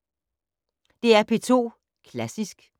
DR P2 Klassisk